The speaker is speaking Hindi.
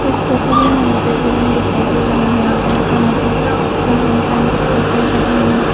इस तस्वीर में मुझे एक रूम दिखाई दे रहा है यहां पर मुझे तीन इंसान दिखाई दे रहा है।